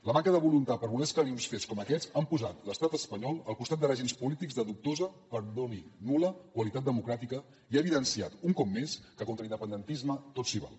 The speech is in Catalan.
la manca de voluntat per voler esclarir uns fets com aquests han posat l’estat espanyol al costat de règims polítics de dubtosa perdoni nul·la qualitat democràtica i ha evidenciat un cop més que contra l’independentisme tot s’hi val